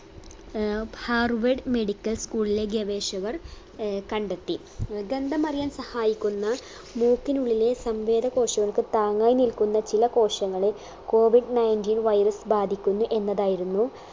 ഏർ harvard medical school ലെ ഗവേഷകർ ഏർ കണ്ടെത്തി ഗന്ധം അറിയാൻ സഹായിക്കുന്ന മൂക്കിനുള്ളിലെ സംവേദ കോശങ്ങൾക്ക് താങ്ങായ് നിൽക്കുന്ന ചില കോശങ്ങളെ COVIDninteen virus ബാധിക്കുന്നു എന്നതായിരുന്നു